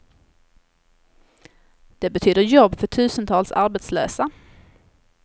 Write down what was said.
Det betyder jobb för tusentals arbetslösa.